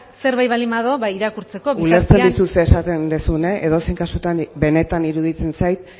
zerbait baldin badago irakurtzeko bitartean ulertzen dizut zer esaten duzun edozein kasutan benetan iruditzen zait